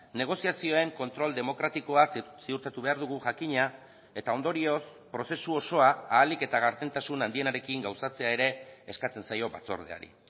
negoziazioen kontrol demokratikoa ziurtatu behar dugu jakina eta ondorioz prozesu osoa ahalik eta gardentasun handienarekin gauzatzea ere eskatzen zaio batzordeari